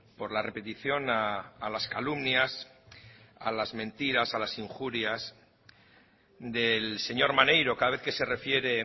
por la repetición a las calumnias a las mentiras a las injurias del señor maneiro cada vez que se refiere